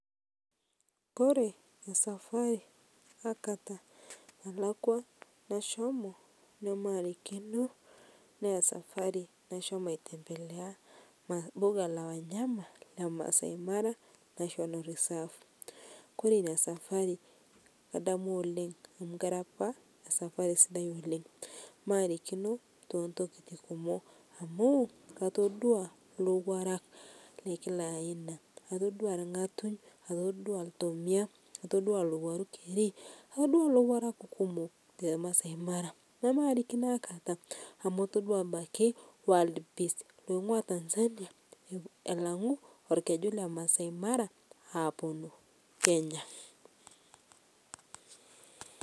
Kore esafari nalakwa aikata nashomo namarikino naa esafari nashomo ai tembelea mbuga la wanyama Le maasai mara national reserve kore inia safari kadamu oleng amu kera apa safari sidai oleng' maarikino tentokiti kumoo amu katodua lowarak Le Kila aina katodua lng'atung' katodua ltomia, katodua lowaruu kerii atodua lowarak kumok te Masai mara namarikino aikata amu atodua abaki wild beast loing'ua Tanzania elang'u elkejuu lemasai maraa aponuu Kenya.